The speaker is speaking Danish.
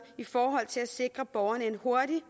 i forhold til at sikre borgerne en hurtig